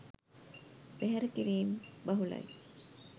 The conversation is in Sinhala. බැහැර කිරීම් බහුලයි